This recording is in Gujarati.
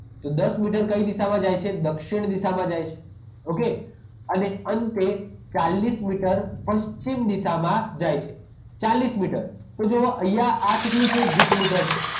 તો દસ મીટર કઈ દિશામાં જાય છે દક્ષિણ દિશામાં જાય છે okay અને અંતે ચાલીસ મીટર પશ્ચિમ દિશામાં જાય છે ચાલીસ મીટર તો જુઓ અહીંયા આ કેટલું છે વીસ મીટર છે